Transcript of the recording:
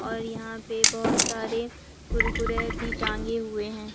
और यहां पे बहोत सारे कुरकुरे भी टांगे हुए हैं।